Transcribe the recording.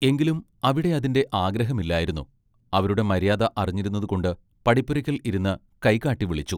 എങ്കിലും അവിടെ അതിന്റെ ആഗ്രഹമില്ലായിരുന്നു അവരുടെ മര്യാദ അറിഞ്ഞിരുന്നത് കൊണ്ട് പടിപ്പുരയ്ക്കൽ ഇരുന്ന് കൈകാട്ടി വിളിച്ചു.